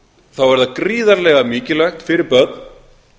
þá er það gríðarlega mikilvægt fyrir börn